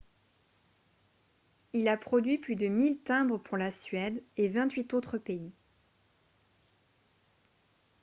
il a produit plus de 1000 timbres pour la suède et 28 autres pays